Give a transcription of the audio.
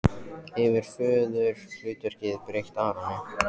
Hefur föðurhlutverkið breytt Aroni?